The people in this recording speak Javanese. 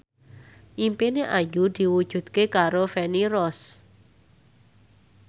impine Ayu diwujudke karo Feni Rose